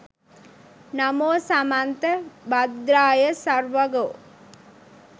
නමෝ සමන්ත භද්‍රාය සර්වඝෝ